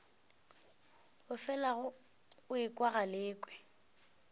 o felago o ekwa galekwe